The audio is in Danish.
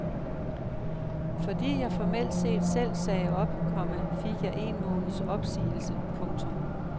Fordi jeg formelt set selv sagde op, komma fik jeg en måneds opsigelse. punktum